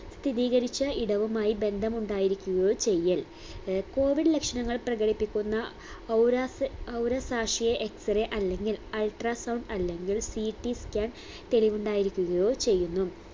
സ്ഥിതീകരിച്ച ഇടവുമായ് ബന്ധമുണ്ടായിരിക്കുകയോ ചെയ്യൽ ഏർ COVID ലക്ഷണങ്ങൾ പ്രകടിപ്പിക്കുന്ന ഔരാസ്യ ഔരസാശ്യേ x -ray അല്ലെങ്കിൽ ultra sound അല്ലെങ്കിൽ CTscan തെളിവുണ്ടായിരിക്കുകയോ ചെയ്യുന്നു